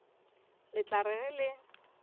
le tla re ge le